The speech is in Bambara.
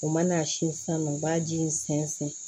U mana si sanga u b'a ji in sɛnsɛn